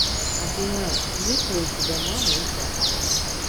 афина есть ли у тебя мама и папа